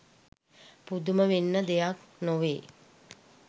පුදුම වෙන්න දෙයක් නෙවෙයි